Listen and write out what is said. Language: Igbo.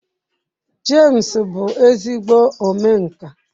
James bu ezigbo omenka.